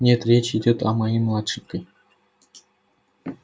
нет речь идёт о моей младшенькой